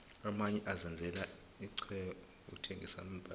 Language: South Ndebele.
amanye azenzela ixhwebonqokuthengisa iimbhadi